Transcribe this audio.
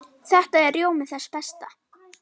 Þetta er rjómi þess besta.